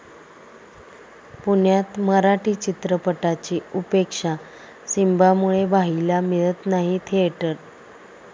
पुण्यात मराठी चित्रपटाची उपेक्षा, सिंबामुळे 'भाई'ला मिळत नाही थिएटर